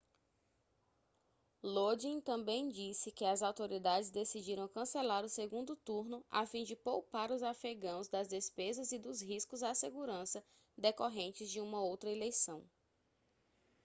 lodin também disse que as autoridades decidiram cancelar o segundo turno a fim de poupar os afegãos das despesas e dos riscos à segurança decorrentes de uma outra eleição